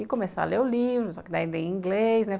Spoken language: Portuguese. E começar a ler o livro, só que daí vem inglês, né?